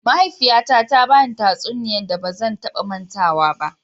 Mahaifiyyata ta ba ni tatsuniyan da ba zan ta ba matawa ba.